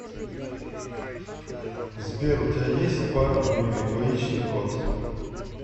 сбер у тебя есть пара ну или двоичный код